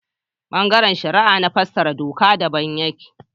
Ɓangaren shari'a na fassara doka daban yake